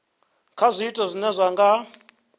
kha zwiito zwine zwa nga